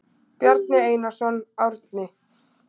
Bjarni Einarsson, Árni.